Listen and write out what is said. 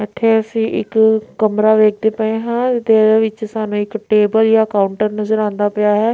ਇੱਥੇ ਅਸੀਂ ਇੱਕ ਕਮਰਾ ਵੇਖਦੇ ਪਏ ਹਾਂ ਤੇ ਇਹਦੇ ਵਿੱਚ ਸਾਨੂੰ ਇੱਕ ਟੇਬਲ ਜਾਂ ਕਾਊਂਟਰ ਨਜ਼ਰ ਆਉਂਦਾ ਪਿਆ ਹੈ।